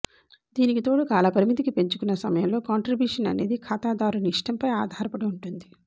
దీనికి తోడు కాలపరిమితికి పెంచుకన్న సమయంలో కాంట్రీబ్యూషన్ అనేది ఖాతాదారుని ఇష్టంపై ఆధారపడి ఉంటుంది